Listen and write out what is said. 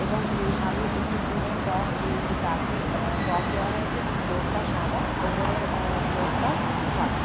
এবং উম সামনে একটি ফুলের টব এবং একটি গাছের আঃ টব দেওয়া রয়েছে এবং ফ্লোর -টা সাদা। ওপরের আঃ ফ্লোর টা সাদা।